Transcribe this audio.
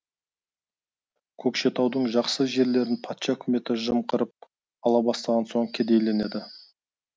көкшетаудың жақсы жерлерін патша үкіметі жымқырып ала бастаған соң кедейленеді